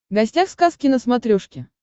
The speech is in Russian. гостях сказки на смотрешке